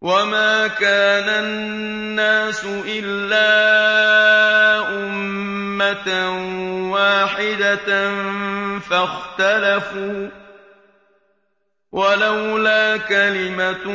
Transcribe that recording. وَمَا كَانَ النَّاسُ إِلَّا أُمَّةً وَاحِدَةً فَاخْتَلَفُوا ۚ وَلَوْلَا كَلِمَةٌ